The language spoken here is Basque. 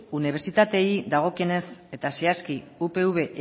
unibertsitateei dagokienez eta zehazki upv